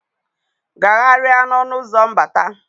Gagharịa n'ọnụ ụzọ mbata.